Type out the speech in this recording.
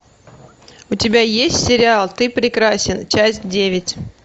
у тебя есть сериал ты прекрасен часть девять